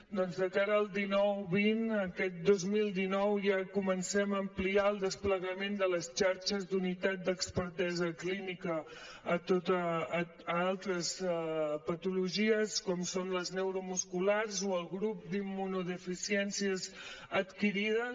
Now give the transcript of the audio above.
doncs de cara al dinou vint aquest dos mil dinou ja comencem a ampliar el desplegament de les xarxes d’unitat d’expertesa clínica a altres patologies com són les neuromusculars o el grup d’immunodeficiències adquirides